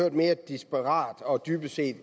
en mere desperat og dybest set